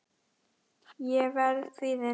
Ég verð kvíðin.